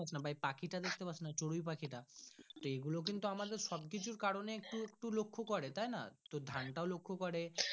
বা পাখি তা দেখতে পাসনা চড়ুই পাখি টা এইগুলো কিন্তু আমাদের সব কিছুর কারণে একটু একটু লক্ষ্য করে তাই না তো ধান টাও লক্ষ্য করে।